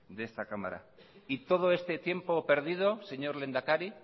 de esta cámara y todo este tiempo perdido señor lehendakari